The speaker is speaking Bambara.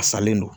A salen don